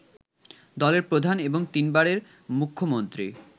দলের প্রধান এবং তিনবারের মুখ্যমন্ত্রী